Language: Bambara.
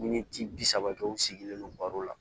Miniti bi saba kɛ u sigilen non baro la